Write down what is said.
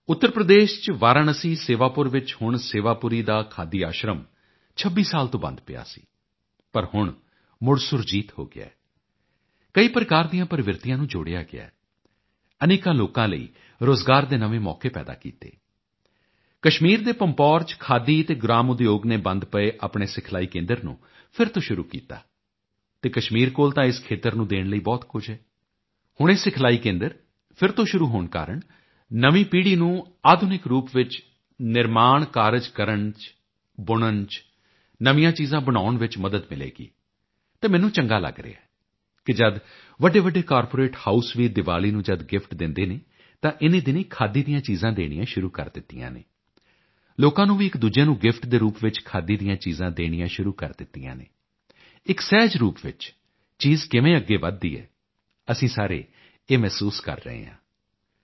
ਉੱਤਰ ਪ੍ਰਦੇਸ਼ ਚ ਵਾਰਾਣਸੀ ਸੇਵਾਪੁਰ ਵਿੱਚ ਹੁਣ ਸੇਵਾਪੁਰੀ ਦਾ ਖਾਦੀ ਆਸ਼ਰਮ 26 ਸਾਲ ਤੋਂ ਬੰਦ ਪਿਆ ਸੀ ਪਰ ਹੁਣ ਮੁੜ ਸੁਰਜੀਤ ਹੋ ਗਿਆ ਕਈ ਪ੍ਰਕਾਰ ਦੀਆਂ ਪ੍ਰਵਿਰਤੀਆਂ ਨੂੰ ਜੋੜਿਆ ਗਿਆ ਅਨੇਕਾਂ ਲੋਕਾਂ ਲਈ ਰੋਜ਼ਗਾਰ ਦੇ ਨਵੇਂ ਮੌਕੇ ਪੈਦਾ ਕੀਤੇ ਕਸ਼ਮੀਰ ਦੇ ਪੰਪੋਰ ਚ ਖਾਦੀ ਅਤੇ ਗ੍ਰਾਮ ਉਦਯੋਗ ਨੇ ਬੰਦ ਪਏ ਆਪਣੇ ਸਿਖਲਾਈ ਕੇਂਦਰ ਨੂੰ ਫਿਰ ਤੋਂ ਸ਼ੁਰੂ ਕੀਤਾ ਅਤੇ ਕਸਮੀਰ ਕੋਲ ਤਾਂ ਇਸ ਖੇਤਰ ਨੂੰ ਦੇਣ ਲਈ ਬਹੁਤ ਕੁਝ ਹੈ ਹੁਣ ਇਹ ਸਿਖਲਾਈ ਕੇਂਦਰ ਫਿਰ ਤੋਂ ਸ਼ੁਰੂ ਹੋਣ ਕਾਰਣ ਨਵੀਂ ਪੀੜ੍ਹੀ ਨੂੰ ਆਧੁਨਿਕ ਰੂਪ ਵਿੱਚ ਨਿਰਮਾਣ ਕਾਰਜ ਕਰਨ ਚ ਬੁਣਨ ਵਿੱਚ ਨਵੀਆਂ ਚੀਜ਼ਾਂ ਬਨਾਉਣ ਵਿੱਚ ਮਦਦ ਮਿਲੇਗੀ ਅਤੇ ਮੈਨੂੰ ਚੰਗਾ ਲੱਗ ਰਿਹਾ ਹੈ ਕਿ ਜਦ ਵੱਡੇਵੱਡੇ ਕਾਰਪੋਰੇਟ ਹਾਊਸ ਵੀ ਦਿਵਾਲੀ ਨੂੰ ਜਦ ਗਿਫਟ ਦਿੰਦੇ ਹਨ ਤਾਂ ਇਨੀਂ ਦਿਨੀਂ ਖਾਦੀ ਦੀਆਂ ਚੀਜ਼ਾਂ ਦੇਣੀਆਂ ਸ਼ੁਰੂ ਕੀਤੀਆਂ ਹਨ ਲੋਕਾਂ ਨੇ ਵੀ ਇੱਕਦੂਜੇ ਨੂੰ ਗਿਫਟ ਦੇ ਰੂਪ ਵਿੱਚ ਖਾਦੀ ਦੀਆਂ ਚੀਜ਼ਾਂ ਦੇਣੀਆਂ ਸ਼ੁਰੂ ਕਰ ਦਿੱਤੀਆਂ ਹਨ ਇੱਕ ਸਹਿਜ ਰੂਪ ਵਿੱਚ ਚੀਜ਼ ਕਿਵੇਂ ਅੱਗੇ ਵੱਧਦੀ ਹੈ ਅਸੀਂ ਸਾਰੇ ਇਹ ਮਹਿਸੂਸ ਕਰ ਰਹੇ ਹਾਂ